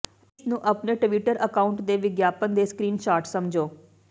ਇਸ ਨੂੰ ਆਪਣੇ ਟਵਿੱਟਰ ਅਕਾਉਂਟ ਦੇ ਵਿਗਿਆਪਨ ਦੇ ਸਕਰੀਨਸ਼ਾਟ ਸਮਝੋ